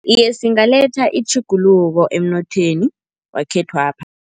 Iye, singaletha itjhuguluko emnothweni wekhethwapha.